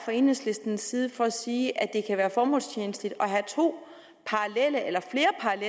enhedslistens side for at sige at det kan være formålstjenligt at have to parallelle eller flere